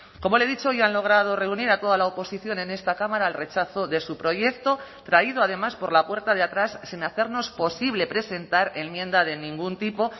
como le he dicho hoy han logrado reunir a toda la oposición en esta cámara al rechazo de su proyecto traído además por la puerta de atrás sin hacernos posible presentar enmienda de ningún tipo